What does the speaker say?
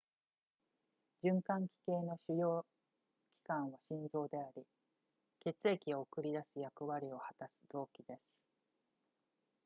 循環器系の主要器官は心臓であり血液を送り出す役割を果たす臓器です